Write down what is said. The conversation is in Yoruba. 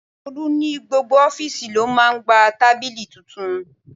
Tolu ní gbogbo ofiisi ló máa gba tábìlì tuntun.